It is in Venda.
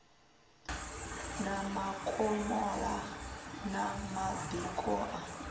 na makomola na madiko a